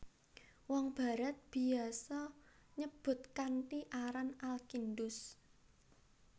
Wong Barat biasa nyebut kanthi aran Al Kindus